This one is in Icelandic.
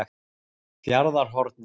Fjarðarhorni